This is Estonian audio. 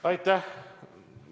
Aitäh!